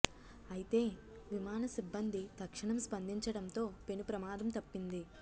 అయితే విమాన సిబ్బంది తక్షణం స్పందించడంతో పెను ప్రమాదం తప్పింది